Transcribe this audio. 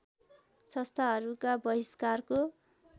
संस्थाहरूका बहिष्कारको